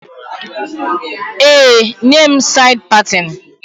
Ee, nye m said patin